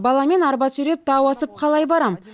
баламен арба сүйреп тау асып қалай барамын